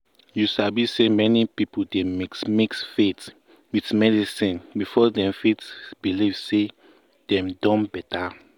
you sabi say many people dey mix mix faith with medicine before dem fit believe say dem don better.